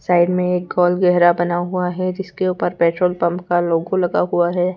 Side में एक गोल गहरा बना हुआ है जिसके ऊपर पेट्रोल पंप का लोगो लगा हुआ है।